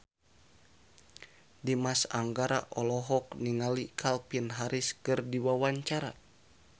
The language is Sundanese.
Dimas Anggara olohok ningali Calvin Harris keur diwawancara